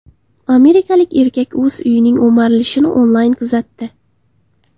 Amerikalik erkak o‘z uyining o‘marilishini onlayn kuzatdi.